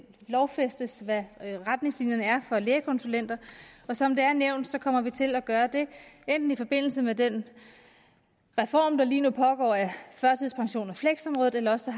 lovfæstes hvad retningslinjerne er for lægekonsulenter som det er nævnt kommer vi til at gøre det enten i forbindelse med den reform der lige nu pågår af førtidspensions og fleksområdet eller også